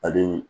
Ale